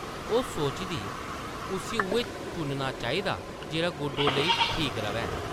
ओह् सोचदी उस्सी उʼऐ चुनना चाहिदा जेह्ड़ा गुड्डो लेई ठीक रʼवै ।